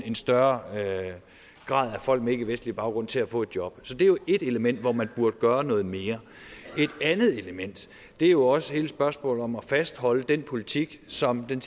en større grad af folk med ikkevestlig baggrund til at få et job så det er jo ét element hvor man burde gøre noget mere et andet element er jo også hele spørgsmålet om at fastholde den politik som den